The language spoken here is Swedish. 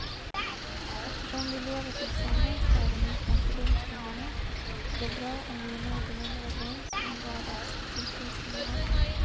Eftersom vi lever tillsammans även utanför domstolarna, är det bra om vi är någorlunda överens om vardagsetikens innehåll.